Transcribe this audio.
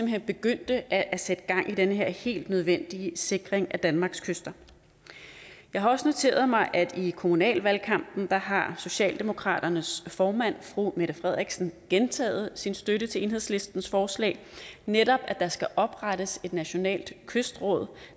hen begyndte at sætte gang i den her helt nødvendige sikring af danmarks kyster jeg har også noteret mig at i kommunalvalgkampen har socialdemokraternes formand fru mette frederiksen gentaget sin støtte til enhedslistens forslag netop at der skal oprettes et nationalt kystråd